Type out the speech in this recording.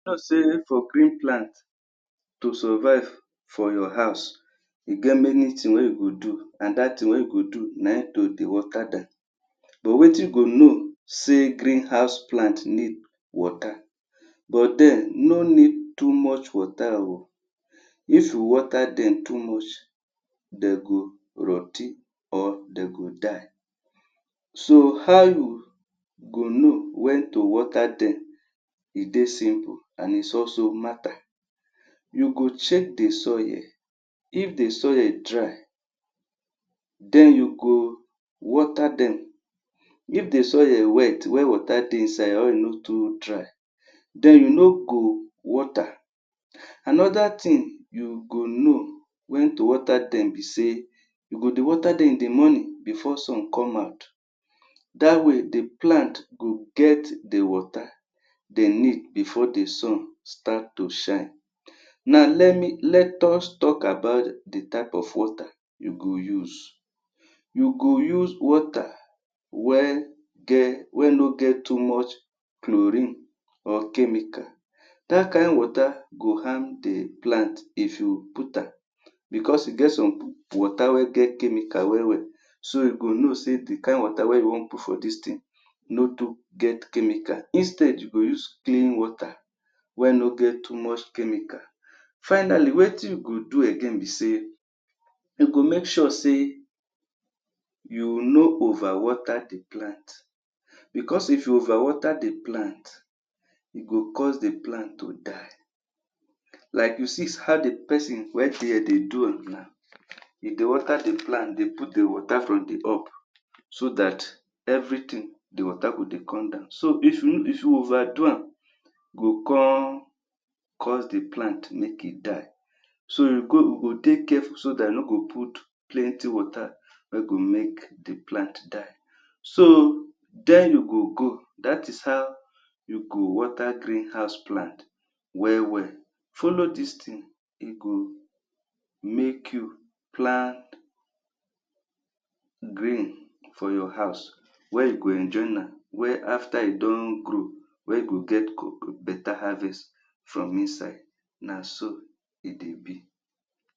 sey for green plant to survuve for your house, e get many tin wey you go do. Na dat tin wey you go do na ein to dey But wetin go know sey green house plant need water. But den no need too much water um. If you water dem too much, dey go rot ten or de go die. So, how you go know wen to water dem e dey simple and is also matter. You go check the soil if the soil dry. Then you go water dem. If the soil wet wey water dey inside or e no too dry, then you no go water. Another tin you go know wen to water dem be sey you go dey water dem in the morning bfore sun come out. Dat way, the plant go get the water de need before the sun start to shine. Now, let us talk about the type of water you go use. You go use water wey no get too much chlorine or chemical. Dat kain water go harm the plant if you put am. Becos e get some water wey get chemical well-well. So, you go know sey the kain water wey you wan put for dis tin no too get chemical. Instead, you go use clean water wey no get too much chemical. Finally, wetin you go do again be sey you go make sure sey you no overwater the plant. Becos if you overwater the plant, e go cause the plant to die. Like you see how the peson dey do am now, e dey water the plant dey put the water from the up. So that everything the water go dey come down. So, if you overdo am, go con cause the plant make e die. So, you go dey careful so dat yo no go put plenty water wey go make the plant die. So, then you go go. Dat is how you go water green house plant well-well. Follow dis tin; e go make you plant grain for your house. where you go enjoy am, where after e do grow, wey go get beta harvest from inside Na so e dey be.